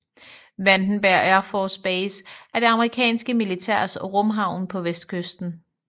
Vandenberg Air Force Base er det amerikanske militærs rumhavn på vestkysten